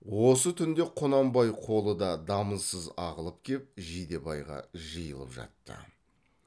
осы түнде құнанбай қолы да дамылсыз ағылып кеп жидебайға жиылып жатты